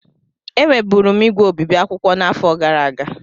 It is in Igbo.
Enweburu m ígwè obibi akwụkwọ n'afọ gara aga.